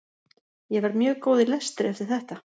ég verð mjög góð í lestri eftir þetta